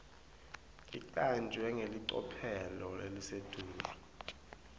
icanjwe ngelicophelo lelisetulu